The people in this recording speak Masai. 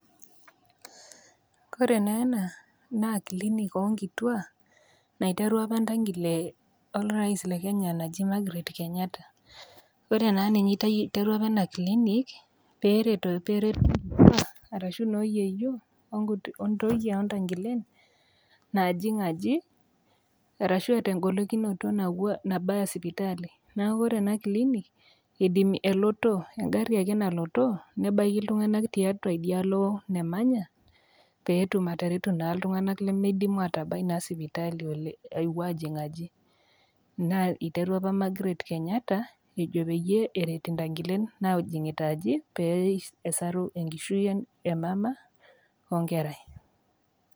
Ore naa ena, naa clinic oo nkituaa naiterua opa entangile orais Le Kenya naji Margaret Kenyatta. Ore naa ninye neiterua opaena clinic peret inkitua arashu noo yieyio, ontoyie o ntangilen naajing aji, arashu eata engolikinoto nabayarie sipitali. Neaku Kore ena clinic elotoo engari ake nalotoo nebaiki iltung'ana tiatua idialo namanya, pee etum naa atareto iltung'ana lemeidim atabai sipitali aapuo ajing aji. Naa eiterua opa Margaret Kenyatta pee eret, intangilen najingita aji pee esaru enkishui e yieyio we enkerai.